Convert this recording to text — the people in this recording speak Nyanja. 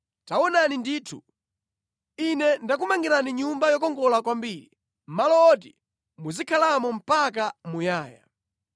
taonani ndithu, ine ndakumangirani Nyumba yokongola kwambiri, malo woti muzikhalamo mpaka muyaya.”